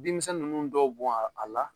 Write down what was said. Bin kisɛ nunnu dɔw bɔn a a la